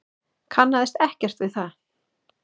Kannaðist ekkert við það.